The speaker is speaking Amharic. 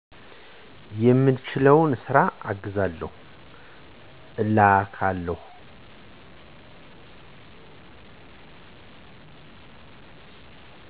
የምችለውን ስራ አግዛለሁ፤ እላላካለሁ።